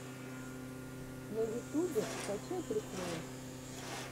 на ютюбе скачай приколы